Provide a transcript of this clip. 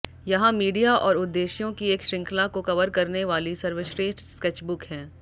यहां मीडिया और उद्देश्यों की एक श्रृंखला को कवर करने वाली सर्वश्रेष्ठ स्केचबुक हैं